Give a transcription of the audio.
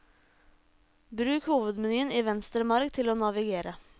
Bruk hovedmenyen i venstre marg til å navigere.